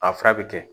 A fura bɛ kɛ